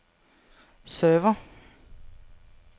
server